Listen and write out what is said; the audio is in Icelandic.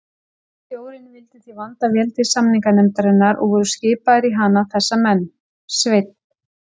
Stjórnin vildi því vanda vel til samninganefndarinnar, og voru skipaðir í hana þessa menn: Sveinn